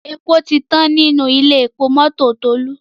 èpo tí tán ní Ilé-epo mọ́tò Tolu.